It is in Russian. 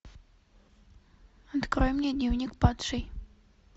открой мне дневник падшей